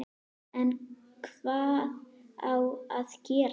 En hvað á að gera?